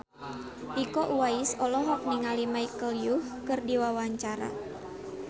Iko Uwais olohok ningali Michelle Yeoh keur diwawancara